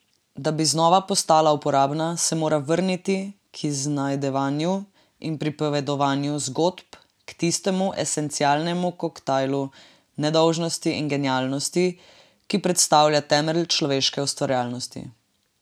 Da bi znova postala uporabna, se mora vrniti k iznajdevanju in pripovedovanju zgodb, k tistemu esencialnemu koktajlu nedolžnosti in genialnosti, ki predstavlja temelj človeške ustvarjalnosti.